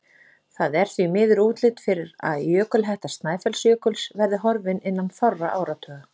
Það er því miður útlit fyrir að jökulhetta Snæfellsjökuls verði horfin innan fárra áratuga.